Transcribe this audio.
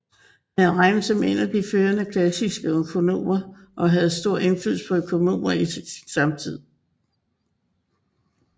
Han regnes som en af de førende klassiske økonomer og havde stor indflydelse på økonomer i sin samtid